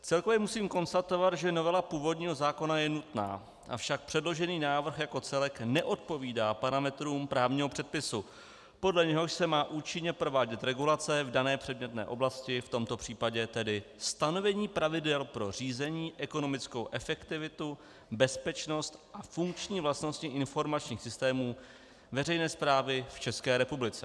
Celkově musím konstatovat, že novela původního zákona je nutná, avšak předložený návrh jako celek neodpovídá parametrům právního předpisu, podle něhož se má účinně provádět regulace v dané předmětné oblasti, v tomto případě tedy stanovení pravidel pro řízení, ekonomickou efektivitu, bezpečnost a funkční vlastnosti informačních systémů veřejné správy v České republice.